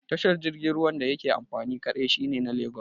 Tashar jirgin ruwan da yake amfani kaɗai shine na Lagos